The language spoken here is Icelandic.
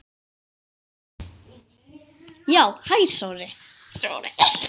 Já, hæ Sóri.